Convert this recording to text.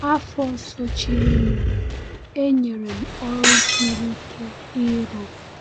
Afọ sochirinụ, e nyere m ọrụ siri ike ịrụ.